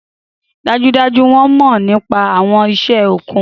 Dájúdájú! Wọn mọ nipa awọn iṣẹ okun.